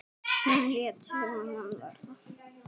Hún lét sig mann varða.